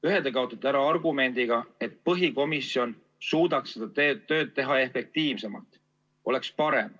Ühe kaotate ära argumendiga, et põhikomisjon suudaks seda tööd teha efektiivsemalt, oleks parem.